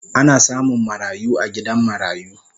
Ana samun marayu a gidan marayu